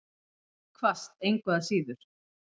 Hvasst engu að síður.